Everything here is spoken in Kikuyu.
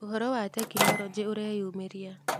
Ũhoro wa Tekinolonjĩ ũreyumĩria